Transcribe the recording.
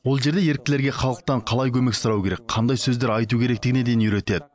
ол жерде еріктілерге халықтан қалай көмек сұрау керек қандай сөздер айту керектігіне дейін үйретеді